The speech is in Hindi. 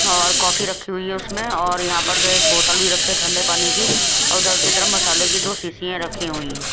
औ कॉफी रखी हुई है उसमें और यहां पर जो है एक बोतल भी रखे है ठंडे पानी की और उधर की तरफ मसाले की दो शीशीयां में रखी हुई हैं।